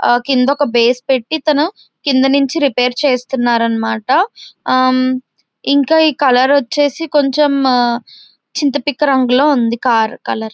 ఆ కింద ఒక బేస్ పెట్టి తాను కింద నుంచి రిపేర్ చేస్తున్నారన్న మాట ఆ ఇంకా ఈ కలర్ వచ్చేసి కొంచం చింత పిక్ రంగులో ఉంది కార్ కలర్ .